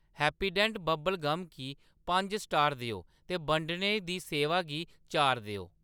Happydent bubble gum गी पंज star देओ ते बंडने दी सेवा गी चार देओ।